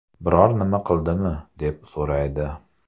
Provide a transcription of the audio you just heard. Biror nima qildimi, deb so‘raydi.